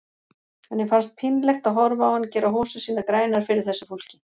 Henni fannst pínlegt að horfa á hann gera hosur sínar grænar fyrir þessu fólki.